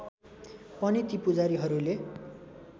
पनि ती पूजारीहरूले